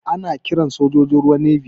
Ana kiran sojojin ruwa "Navy".